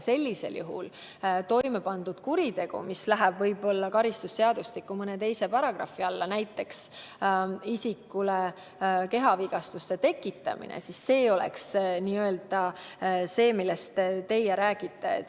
Sellisel juhul toime pandud kuritegu, mis läheb karistusseadustikus võib-olla mõne teise paragrahvi alla, näiteks isikule kehavigastuse tekitamine, oleks see, millest teie räägite.